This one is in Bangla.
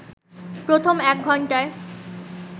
প্রথম এক ঘন্টায়